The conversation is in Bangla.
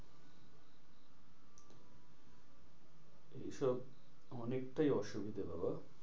এইসব অনেকটাই অসুবিধে বাবা।